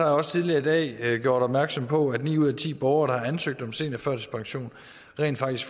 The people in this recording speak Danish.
også tidligere i dag gjort opmærksom på at ni ud af ti borgere der har ansøgt om seniorførtidspension rent faktisk